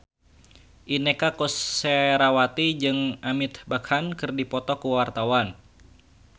Inneke Koesherawati jeung Amitabh Bachchan keur dipoto ku wartawan